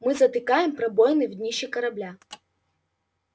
мы затыкаем пробоины в днище корабля